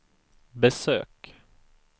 besök